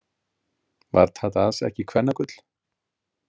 Var Tadas ekki kvennagull?